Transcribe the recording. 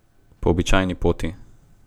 Po običajni poti ...